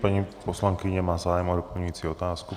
Paní poslankyně má zájem o doplňující otázku.